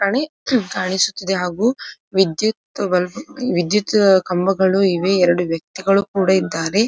ಕಾಣಿ ಕಾಣಿಸುತ್ತದೆ ಹಾಗು ವಿದ್ಯುತ್ ಬಲ್ಬ್ ವಿದ್ಯುತ್ ಕಂಬಗಳು ಇವೆ ಎರಡು ವ್ಯಕ್ತಿಗಳು ಕೂಡ ಇದ್ದಾರೆ.